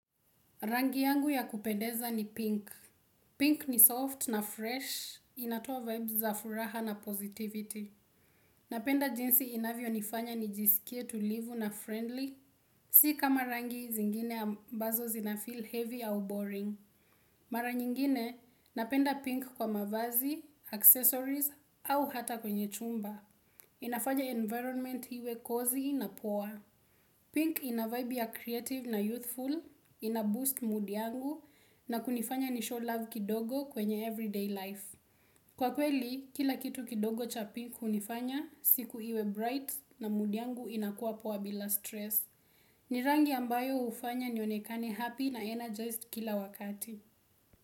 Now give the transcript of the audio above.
Rangi yangu ya kupendeza ni pink. Pink ni soft na fresh, inatoa vibes za furaha na positivity. Napenda jinsi inavyonifanya nijisikie tulivu na friendly, si kama rangi zingine ambazo zinafeel heavy au boring. Mara nyingine, napenda pink kwa mavazi, accessories au hata kwenye chumba. Inafanya environment iwe cozy na poa. Pink ina vibe ya creative na youthful, inaboost mood yangu, na kunifanya ni show love kidogo kwenye everyday life. Kwa kweli, kila kitu kidogo cha pink hunifanya, siku iwe bright na mood yangu inakuwa poa bila stress. Ni rangi ambayo hufanya nionekane happy na energized kila wakati.